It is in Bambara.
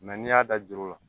n'i y'a da juru la